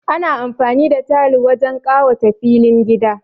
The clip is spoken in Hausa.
Ana amfani da tayal wajen kawata filin gida